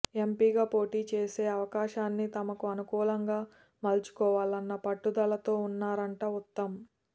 ఎంపీగా పోటీ చేసే అవకాశాన్ని తనకు అనుకూలంగా మలచుకోవాలన్న పట్టుదలతో ఉన్నారంట ఉత్తమ్